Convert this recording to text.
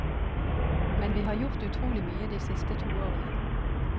Men vi har gjort utrolig mye de siste to årene.